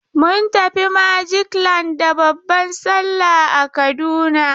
Mun tafi Magic land da babban salla a Kaduna.